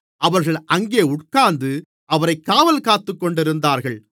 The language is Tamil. அவர்கள் அங்கே உட்கார்ந்து அவரைக் காவல்காத்துக்கொண்டிருந்தார்கள்